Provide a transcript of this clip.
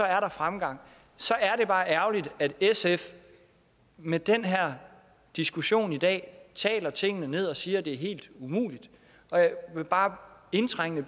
er fremgang så er det bare ærgerligt at sf med den her diskussion i dag taler tingene ned og siger at det er helt umuligt jeg vil bare indtrængende